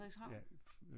Frederikshavn?